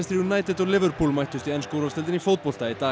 United og mættust í ensku úrvalsdeildinni í fótbolta í dag